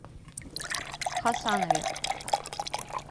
хасанове